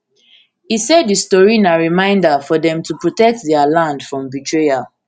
e say di story na reminder for dem to protect dia land from betrayal